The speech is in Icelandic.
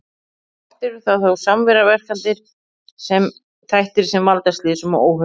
Oft eru það þó samverkandi þættir sem valda slysum og óhöppum.